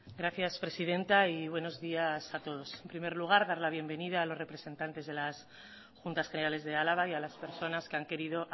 gracias presidenta y buenos días a todos en primer lugar dar la bienvenida a los representantes de las juntas generales de álava y a las personas que han querido